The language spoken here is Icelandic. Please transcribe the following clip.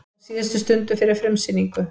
Á síðustu stundu fyrir frumsýningu